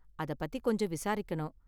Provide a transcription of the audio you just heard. அத பத்தி கொஞ்சம் விசாரிக்கணும்.